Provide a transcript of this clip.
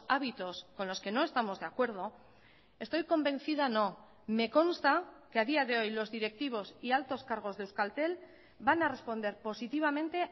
hábitos con los que no estamos de acuerdo estoy convencida no me consta que a día de hoy los directivos y altos cargos de euskaltel van a responder positivamente